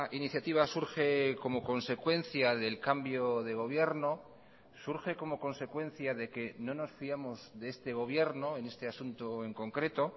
iniciativa surge como consecuencia del cambio de gobierno surge como consecuencia de que no nos fiamos de este gobierno en este asunto en concreto